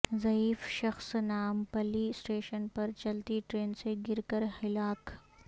ضعیف شخص نامپلی اسٹیشن پر چلتی ٹرین سے گر کر ہلاک